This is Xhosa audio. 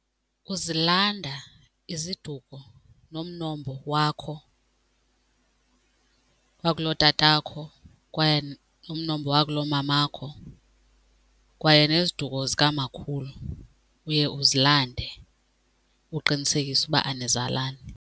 Uzilanda iziduko nomnombo wakho wakulotatakho kwaye umnombo wakulomamakho kwaye neziduko zikamakhulu uye uzilande, uqinisekisa uba anizalani.